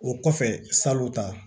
O kɔfɛ salon ta